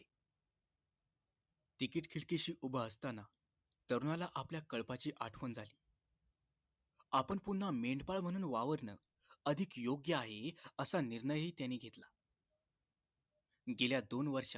उभं असताना तरुणाला आपल्या कळपाची आठवण झाली आपण पुन्हा मेंढपाळ म्हणून वावरण अधिक योग्य आहे असा निर्णय ही त्याने घेतला गेल्या दोन वर्षात